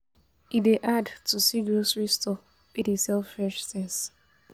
E dey hard to see grocery store wey dey sell fresh tins.